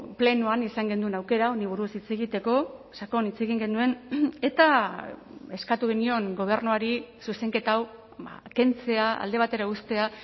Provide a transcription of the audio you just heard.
plenoan izan genuen aukera honi buruz hitz egiteko sakon hitz egin genuen eta eskatu genion gobernuari zuzenketa hau kentzea alde batera uztea